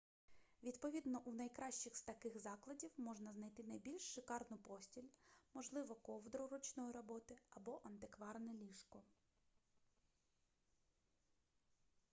відповідно у найкращих з таких закладів можна знайти найбільш шикарну постіль можливо ковдру ручної роботи або антикварне ліжко